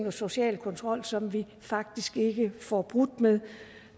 og social kontrol som vi faktisk ikke får brudt med